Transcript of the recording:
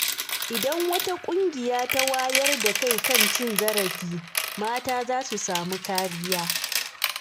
Idan wata ƙungiya ta wayar da kai kan cin zarafi, mata za su samu kariya.